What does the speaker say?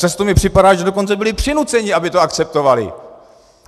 Často mi připadá, že dokonce byli přinuceny, aby to akceptovaly.